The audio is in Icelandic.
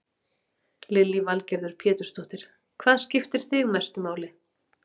Lillý Valgerður Pétursdóttir: Hvað skiptir þig mestu máli?